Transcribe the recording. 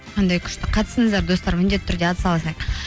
қандай күшті қатысыңыздар достар міндетті түрде атсалысайық